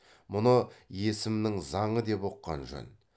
мұны есімнің заңы деп ұққан жөн